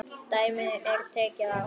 Dæmi er tekið af